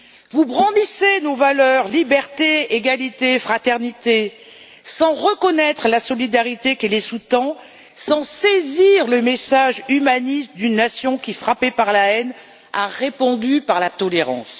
Vous brandissez nos valeurs liberté, égalité, fraternité sans reconnaître la solidarité qui les sous tend, sans saisir le message humaniste d'une nation qui, frappée par la haine, a répondu par la tolérance.